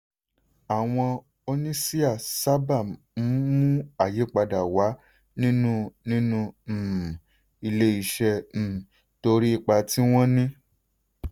àwọn oníṣíà sábà ń mú ayípadà wá nínú nínú um ilé-iṣẹ́ um torí ipa tí wọ́n ní.